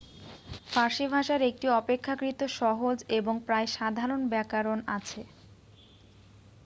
ফার্সি ভাষার একটি অপেক্ষাকৃত সহজ এবং প্রায় সাধারণ ব্যাকরণ আছে